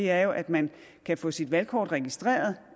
er jo at man kan få sit valgkort registreret